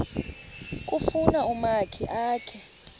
kufuna umakhi akhe